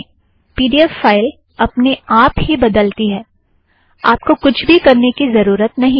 P D F file अपने आप ही बदलती है - आपको कुछ भी करने की ज़रूरत नहीं है